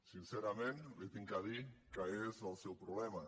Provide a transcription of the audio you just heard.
sincerament li he de dir que és el seu problema